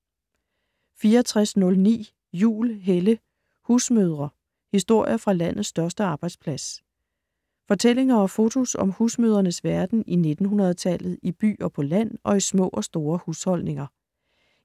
64.09 Juhl, Helle: Husmødre: historier fra landets største arbejdsplads Fortællinger og fotos om husmødrenes verden i 1900-tallet - i by og på land og i små og store husholdninger.